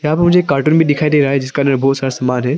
यहां पर मुझे एक कार्टून भी दिखाई दे रहा है जिसके अंदर में बहुत सारा सामान है।